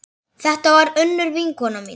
Þetta var Unnur vinkona mín.